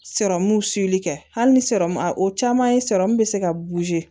kɛ hali ni o caman ye bɛ se ka